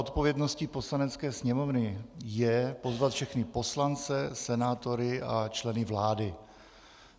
Odpovědností Poslanecké sněmovny je pozvat všechny poslance, senátory a členy vlády.